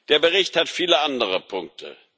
Der Bericht hat viele andere Punkte.